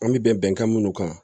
An bɛ bɛnkan minnu kan